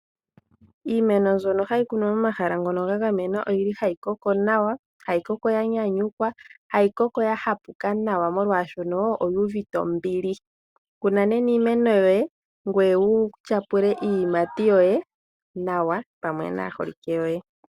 Iimeno mbyono hayi kunwa momahala ngono ga gamenwa oyi li hayi koko nawa, hayi koko ya nyanyukwa, hayi koko ya hapuka nawa molwaashono oyi uvite ombili. Kuna nena iimeno yoye ngoye wu tyapula iiyimati yoye nawa pamwe naaholike yoye.